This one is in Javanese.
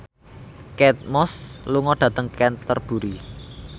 Kate Moss lunga dhateng Canterbury